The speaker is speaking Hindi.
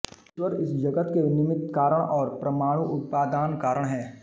ईश्वर इस जगत् के निमित्तकारण और परमाणु उपादानकारण हैं